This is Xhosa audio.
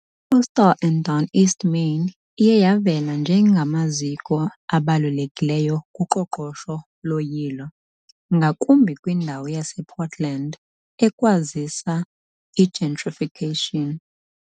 Coastal and Down East Maine iye yavela njengamaziko abalulekileyo kuqoqosho loyilo, ngakumbi kwindawo yasePortland, ekwazisa i-gentrification .